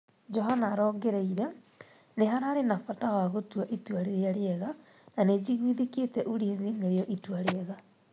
Johana arongereie: Nĩ hararĩ na bata wa gũtua itua rĩrĩa rĩega na nĩnjigwithĩkĩte Ulinzi nĩrĩo itua rĩega.